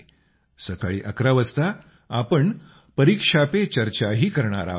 सकाळी 11 वाजता आपण परीक्षा पे चर्चा ही करणार आहोत